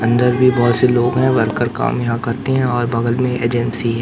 अंदर भी बहोत से लोग हैं वर्कर काम यहां करते हैं और बगल में एजेंसी --